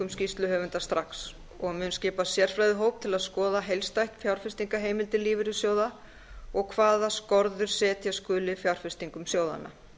skýrsluhöfunda strax og mun skipa sérfræðihóp til að skoða heildstætt fjárfestingarheimildir lífeyrissjóða og hvaða skorður setja skuli við fjárfestingum sjóðanna